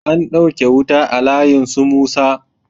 An ɗauke wuta a layin su musa